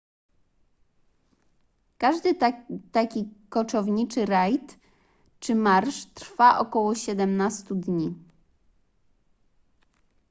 każdy taki koczowniczy rajd czy marsz trwa około 17 dni